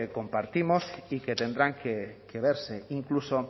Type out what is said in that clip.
compartimos y que tendrán que verse incluso